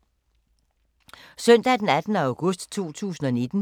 Søndag d. 18. august 2019